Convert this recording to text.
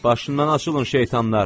Başından açılın, şeytanlar!